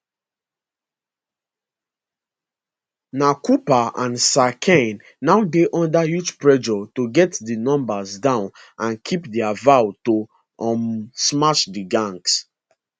na cooper and sir keir now dey under huge pressure to get di numbers down and keep dia vow to um smash di gangs